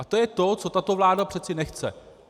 A to je to, co tato vláda přeci nechce.